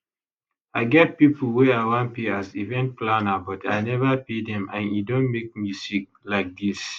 i get pipo wey i wan pay as event planner but i neva pay dem and e don make me sick like dis